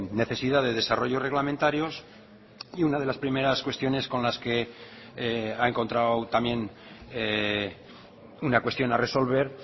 necesidad de desarrollos reglamentarios y una de las primeras cuestiones con las que ha encontrado también una cuestión a resolver